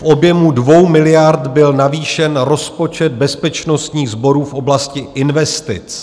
V objemu 2 miliard byl navýšen rozpočet bezpečnostních sborů v oblasti investic.